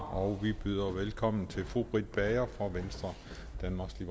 og vi byder velkommen til fru britt bager fra venstre danmarks